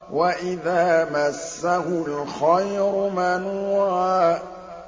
وَإِذَا مَسَّهُ الْخَيْرُ مَنُوعًا